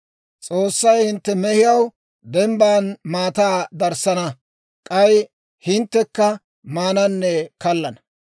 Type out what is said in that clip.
S'oossay hintte mehiyaw dembban maataa darissana. K'ay hinttekka maananne kallana.